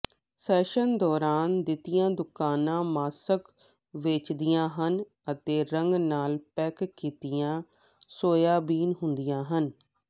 session ਦੌਰਾਨ ਦੀਆਂ ਦੁਕਾਨਾਂ ਮਾਸਕ ਵੇਚਦੀਆਂ ਹਨ ਅਤੇ ਰੰਗ ਨਾਲ ਪੈਕ ਕੀਤੀਆਂ ਸੋਇਆਬੀਨ ਹੁੰਦੀਆਂ ਹਨ